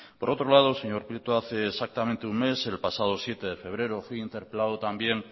por otro lado señor prieto hace exactamente un mes el pasado siete de febrero fui interpelado también